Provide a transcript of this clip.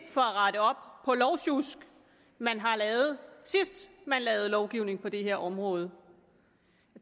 rette op på lovsjusk man har lavet sidst man lavede lovgivning på det her område